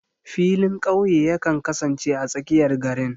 Filin ƙauye yakan kasance a tsakiyar garin.